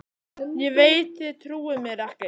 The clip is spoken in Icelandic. Ég veit þið trúið mér ekki.